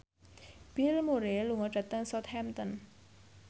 Bill Murray lunga dhateng Southampton